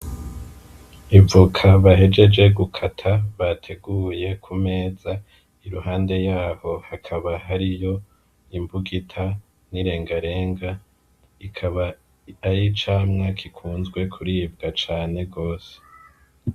Ivoka bahejeje gukata bateguye kumeza iruhande yaho hakaba hariho imbugita n'irengarenga ikaba aricamwa gikunzwe kuribwa cane gose .